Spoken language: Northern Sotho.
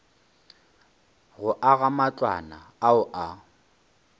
go aga matlwana ao a